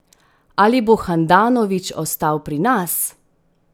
Ali bo Handanović ostal pri nas?